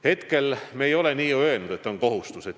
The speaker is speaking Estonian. Hetkel me ei ole nii öelnud, et on kohustus.